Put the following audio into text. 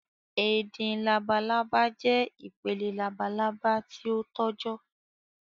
ẹdin làbàlábá jẹ́ ipele làbàlábá ti o tọjọ